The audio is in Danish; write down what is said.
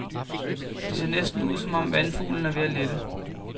Det ser næsten ud, som om vandfuglen er ved at lette.